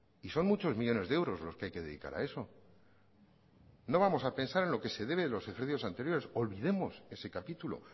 y son muchos millónes de euros los que hay que dedicar a eso no vamos a pensar en lo que se debe de los ejercicios anteriores olvidemos ese capítulo